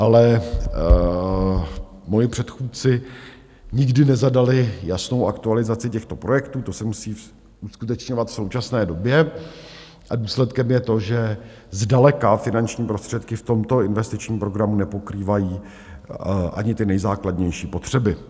Ale moji předchůdci nikdy nezadali jasnou aktualizaci těchto projektů, to se musí uskutečňovat v současné době, a důsledkem je to, že zdaleka finanční prostředky v tomto investičním programu nepokrývají ani ty nejzákladnější potřeby.